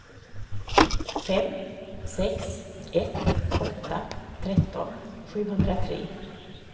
fem sex ett åtta tretton sjuhundratre